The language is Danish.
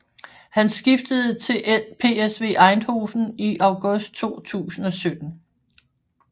Han skiftede til PSV Eindhoven i august 2017